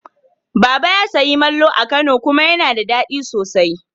Baba ya sayi malmo a Kano kuma yana da daɗi sosai.